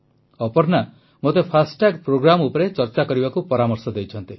ଅପର୍ଣ୍ଣା ମୋତେ ଫାଷ୍ଟାଗ୍ ପ୍ରୋଗ୍ରାମ ଉପରେ ଚର୍ଚ୍ଚା କରିବାକୁ ପରାମର୍ଶ ଦେଇଛନ୍ତି